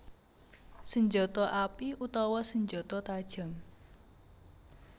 Senjata api utawi senjata tajam